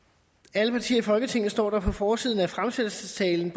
alle partier i folketinget står der på forsiden af fremsættelsestalen